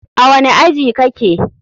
A wani aji kake?